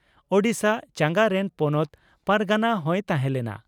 ᱳᱰᱤᱥᱟ ᱪᱟᱸᱜᱟ ᱨᱮᱱ ᱯᱚᱱᱚᱛ ᱯᱟᱨᱜᱟᱱᱟ ᱦᱚᱸᱭ ᱛᱟᱦᱮᱸ ᱞᱮᱱᱟ ᱾